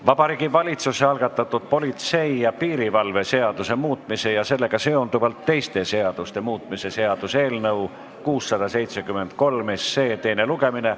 Vabariigi Valitsuse algatatud politsei ja piirivalve seaduse muutmise ja sellega seonduvalt teiste seaduste muutmise seaduse eelnõu 673 teine lugemine.